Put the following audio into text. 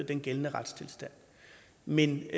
den gældende retstilstand men